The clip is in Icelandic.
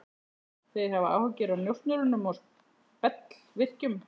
Þeir hafa áhyggjur af njósnurum og spellvirkjum.